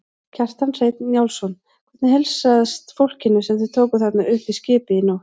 Kjartan Hreinn Njálsson: Hvernig heilsast fólkinu sem þið tókuð þarna upp í skipið í nótt?